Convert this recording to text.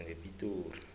ngepitori